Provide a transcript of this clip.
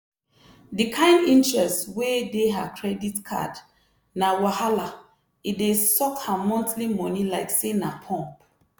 di kain interest wey dey her credit card na wahala e dey suck her monthly money like say na pump